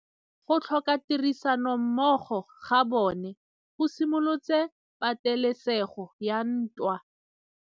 Go tlhoka tirsanommogo ga bone go simolotse patêlêsêgô ya ntwa.